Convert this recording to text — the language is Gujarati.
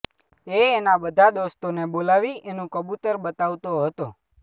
એ એના બધા દોસ્તોને બોલાવી એનું કબુતર બતાવતો હતો